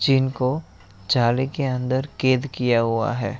जिनको जाले के अंदर कैद किया हुआ है।